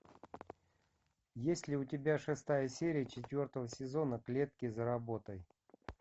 есть ли у тебя шестая серия четвертого сезона клетки за работой